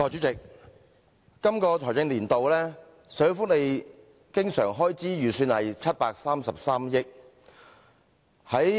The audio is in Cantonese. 代理主席，今個財政年度，社會福利經常開支預算為733億元。